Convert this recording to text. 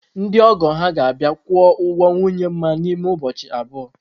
Ndị ọgọ ha ga-abịa kwụọ ụgwọ nwunye Nma n’ime ụbọchị abụọ.